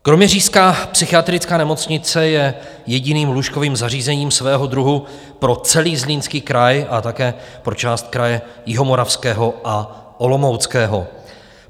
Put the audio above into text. Kroměřížská psychiatrická nemocnice je jediným lůžkovým zařízením svého druhu pro celý Zlínský kraj a také pro část kraje Jihomoravského a Olomouckého.